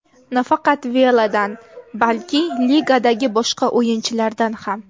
Nafaqat Veladan, balki ligadagi boshqa o‘yinchilardan ham.